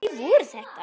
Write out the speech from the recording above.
Hverjir voru þetta?